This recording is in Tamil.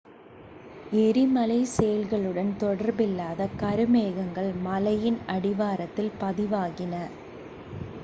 எரிமலைச் செயல்களுடன் தொடர்பில்லாத கருமேகங்கள் மலையின் அடிவாரத்தில் பதிவாகின